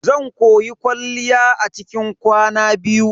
Zan koyi kwalliya a cikin kwana biyu.